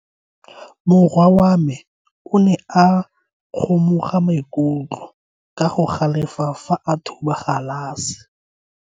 Morwa wa me o ne a kgomoga maikutlo ka go galefa fa a thuba galase.